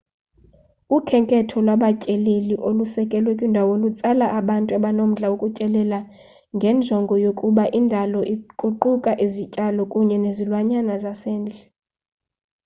ukhenketho lwabatyeleli olusekelwe kwindalo lutsala abantu abanomdla wokutyelela ngenjongo yokubuka indalo kuquka izityalo kunye nezilwanyana zasendle